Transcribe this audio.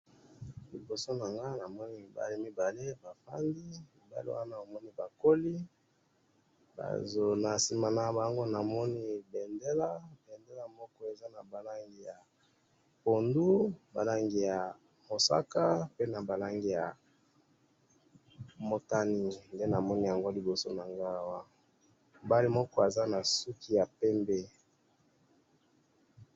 Liboso na nga namoni mibale bavandi ,mibali wana namoni bakoli, nasima na bango namoni bendela ,bendela moko eza na ba langi ya pondu ,balandi mosaka pe na ba langi ya motani mobali moko aza na suki ya pembe